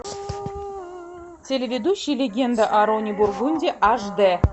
телеведущий легенда о роне бургунди аш дэ